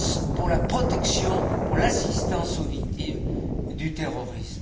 pour la protection, pour l'assistance aux victimes du terrorisme.